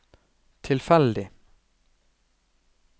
tilfeldig